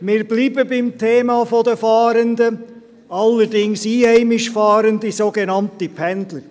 Wir bleiben beim Thema der Fahrenden, aller einheimisch Fahrenden, den sogenannten Pendlern.